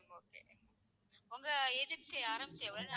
உங்க agency ஆரம்பிச்சு எவ்வளோ நாள்,